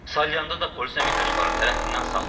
Salyanda da polis əməkdaşları tərəfindən saxlanılıb.